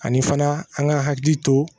Ani fana an ka hakili to